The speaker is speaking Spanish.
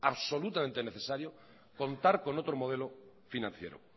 absolutamente necesario contar con otro modelo financiero